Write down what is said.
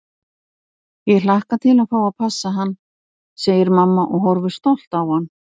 Ég hlakka til að fá að passa hann, segir mamma og horfir stolt á hann.